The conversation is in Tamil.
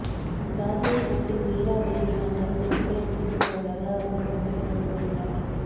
தாஸை விட்டு மீரா விலகி வந்தால் சொத்துக்களைத் திருப்பித் தருவதாக அவரதுகுடும்பத்தினர் கூறினர்